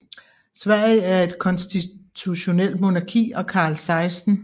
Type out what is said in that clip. Sverige er et konstitutionelt monarki og Carl 16